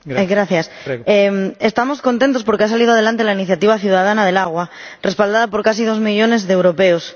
Señor Presidente, estamos contentos porque ha salido adelante la iniciativa ciudadana del agua, respaldada por casi dos millones de europeos.